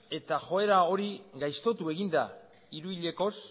eta joera hori gaiztotu egin da hiru hilekoz